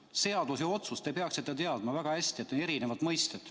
Seadus ja otsus, te peaksite väga hästi teadma, on erinevad mõisted.